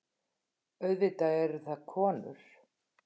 Auðvitað eru það konur.